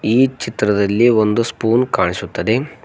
ಈ ಚಿತ್ರದಲ್ಲಿ ಒಂದು ಸ್ಪೂನ್ ಕಾಣಿಸುತ್ತದೆ.